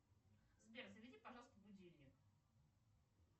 сбер заведи пожалуйста будильник